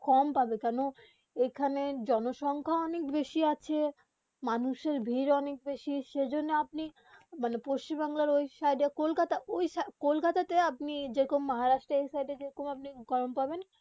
কম পাবে কেন এখানে জনসখ্যা অনেক বেশি আছে মঅনুষের ভিড় অনেক বেশি সেই জন্যে পশ্চিম বঙ্গে এ সাইড কলকাতা ওই সি কলকাতা তে আপনি যেরকম মহারাষ্ট্র এই সাইড যেরকম গরম পাবেন